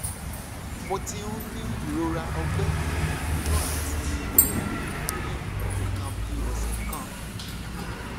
mo ti ń ní ìrora ọgbẹ inú àti ẹyìn ní nǹkan bí ọsẹ kan